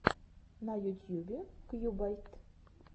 на ютьюбе кьюбайт